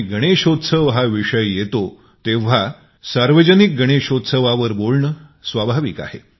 गणेशचतुर्थी विषय येतो तेंव्हा सार्वजनिक गणेशोत्सवावर बोलणे स्वाभाविक आहे